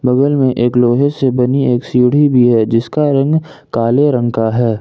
बगल में एक लोहे से बनी एक सीढ़ी भी है जिसका रंग काले रंग का है।